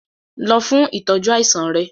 Lọ fún ìtọ́jú àìsàn rẹ!